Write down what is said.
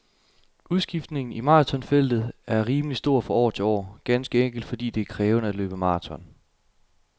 Udskiftningen i marathonfeltet er rimelig stor fra år til år, ganske enkelt fordi det er krævende at løbe marathon.